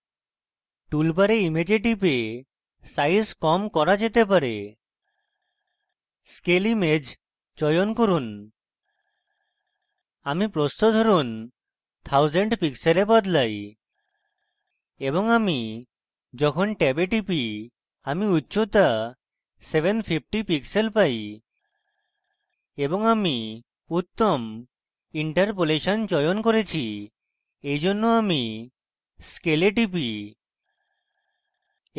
tool bar image টিপে size কম করা যেতে bar scale image চয়ন করুন আমি প্রস্থ ধরুন 1000 pixel বদলাই এবং আমি যখন ট্যাবে টিপি আমি উচ্চতা 750 pixel পাই এবং আমি উত্তম interpolation চয়ন করেছি এইজন্য আমি scale এ টিপি